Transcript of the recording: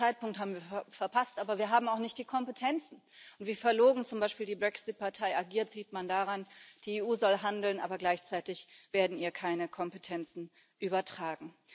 Den Zeitpunkt haben wir verpasst, aber wir haben auch nicht die Kompetenzen, und wie verlogen zum Beispiel die Brexit Partei agiert, sieht man daran Die EU soll handeln, aber gleichzeitig werden ihr keine Kompetenzen übertragen.